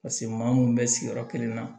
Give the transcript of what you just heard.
Paseke maa mun bɛ sigiyɔrɔ kelen na